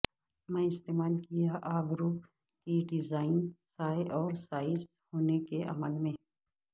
میں استعمال کیا ابرو کی ڈیزائن سائے اور سائز ہونے کے عمل میں